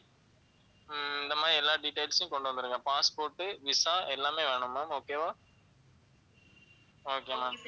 உம் இந்த மாதிரி எல்லா details உம் கொண்டு வந்துருங்க passport, visa எல்லாமே வேணும் ma'am, okay வா okay ma'am